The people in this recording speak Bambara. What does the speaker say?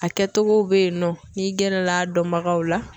A kɛcogow bɛ yen nɔ n'i gɛrɛla a dɔnbagaw la.